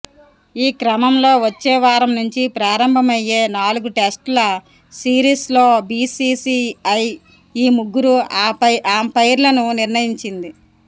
ఈ క్రమంలో వచ్చేవారం నుంచి ప్రారంభమయ్యే నాలుగు టెస్టుల సిరీస్లో బీసీసీఐ ఈ ముగ్గురు అంపైర్లను నిర్ణయించింది